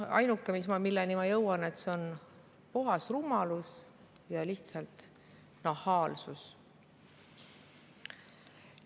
Ainuke, milleni ma jõuan, on see, et see on puhas rumalus ja lihtsalt nahaalsus.